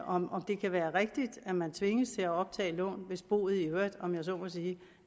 om det kan være rigtigt at man tvinges til at optage lån hvis boet i øvrigt om jeg så må sige